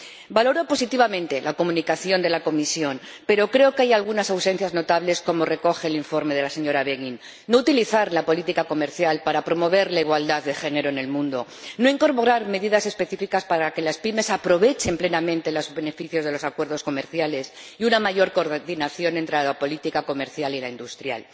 Valoro positivamente la comunicación de la Comisión, pero creo que hay algunas ausencias notables, como recoge el informe de la señora Beghin no utilizar la política comercial para promover la igualdad de género en el mundo, no incorporar medidas específicas para que las pymes aprovechen plenamente los beneficios de los acuerdos comerciales y una mayor coordinación entre la política comercial y la industrial.